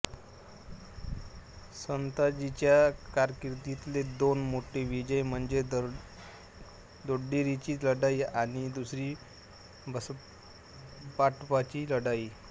संताजीच्या कारकिर्दीतले दोन मोठे विजय म्हणजे दोड्डेरीची लढाई आणि दुसरी बसवापट्टणची लढाई